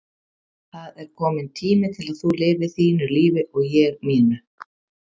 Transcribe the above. Það er kominn tími til að þú lifir þínu lífi og ég mínu.